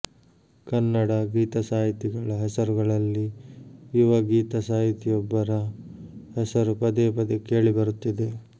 ಕನ್ನಡ ಗೀತಸಾಹಿತಿಗಳ ಹೆಸರುಗಳಲ್ಲಿ ಯುವ ಗೀತಸಾಹಿತಿಯೊಬ್ಬರ ಹೆಸರು ಪದೇ ಪದೇ ಕೇಳಿ ಬರುತ್ತಿದೆ